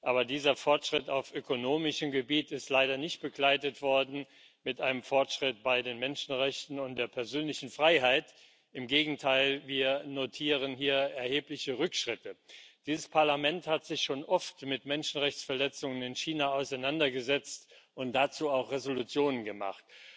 Aber dieser Fortschritt auf ökonomischem Gebiet ist leider nicht begleitet worden von einem Fortschritt bei den Menschenrechten und der persönlichen Freiheit. Im Gegenteil Wir notieren hier erhebliche Rückschritte. Dieses Parlament hat sich schon oft mit Menschenrechtsverletzungen in China auseinandergesetzt und dazu auch Entschließungen gemacht.